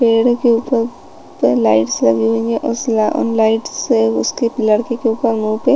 पेड़ के ऊपर लाइट्स लगी हुई है उस ल लाइट्स से उसकी लड़की के ऊपर मुँह पे--